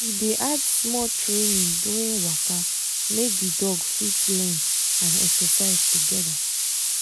he dey add small training during waka make the dog fit learn and exercise together